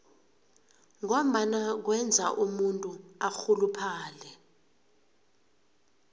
ngombana kwenza umuntu arhuluphale